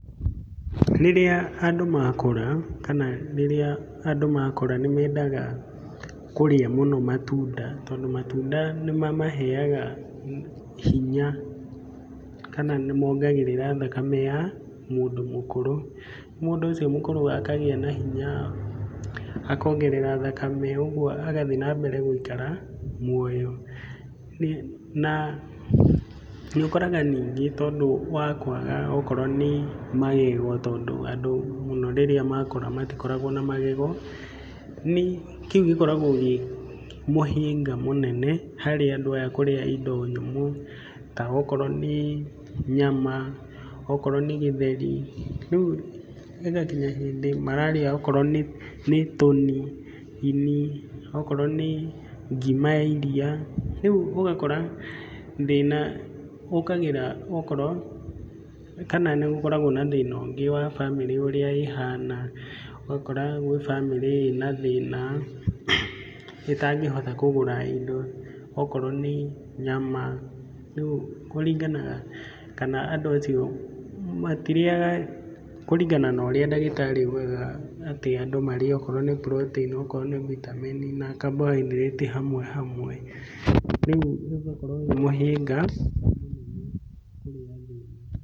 Rĩrĩa andũ makũra, kana rĩrĩa andũ makũra nĩ mendaga, kũrĩa mũno matunda tondũ matunda nĩ mamaheaga hi hinya, kana nĩ mongagĩrĩra thakame ya mũndũ mũkũrũ, mũndũ ũcio mũkũrũ akagĩa na hinya, akongerera thakame, ũguo agathiĩ na mbere gũikara muoyo. Na, nĩ ũkoraga ningĩ tondũ wa kwaga okorwo nĩ magego, tondũ andũ mũno rĩrĩa makũra matikoragwo na magego, kĩu gĩkoragwo gĩ mũhĩnga mũnene harĩ andũ aya kũrĩa indo nyũmũ ta okorwo nĩ nyama, okorwo nĩ gĩtheri, ríu ĩgakinya hĩndĩ mararĩa okorwo nĩ tũni, ini, okorwo nĩ ngima ya iria, ríũ ũgakora thĩna ũkagĩra, okorwo kana nĩ gũkoragwo na thĩna ũngĩ wa bamĩrĩ ũrĩa ĩhana ũgakora gwĩ bamĩrĩ ĩna thĩna ĩtangĩhota kũgũra indo, okorwo nĩ nyama, rĩu kũringanaga kana andũ acio matirĩaga kũringana na ũrĩa ndagĩtarĩ augaga atĩ andũ marĩe okorwo nĩ puroteini, okorwo nĩ vitameni na kambohaindĩrĩti hamwe hamwe, rĩu ũgakorwo wĩ mũhĩnga mũnene kũrĩ andũ.